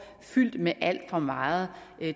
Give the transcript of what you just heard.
fyldt med alt for meget